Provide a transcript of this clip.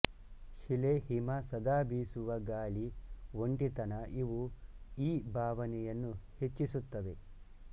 ಶಿಲೆ ಹಿಮ ಸದಾಬೀಸುವ ಗಾಳಿ ಒಂಟಿತನಇವು ಈ ಭಾವನೆಯನ್ನು ಹೆಚ್ಚಿಸುತ್ತವೆ